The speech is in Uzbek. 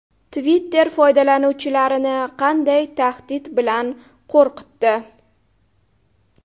Twitter foydalanuvchilarini qanday tahdid bilan qo‘rqitdi?